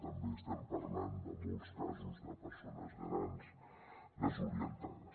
també estem parlant de molts casos de persones grans desorientades